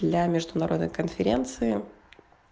для международной конференции